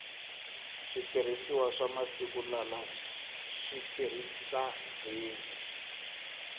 switirhisiwa swa masiku lala si tirhisa gezi